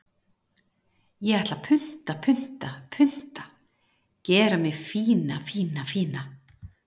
Ég ætla að punta, punta, punta Gera mig fína, fína, fína.